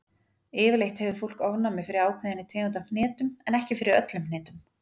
Yfirleitt hefur fólk ofnæmi fyrir ákveðinni tegund af hnetum, en ekki fyrir öllum hnetum.